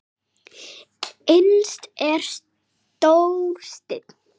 Innst er stór steinn.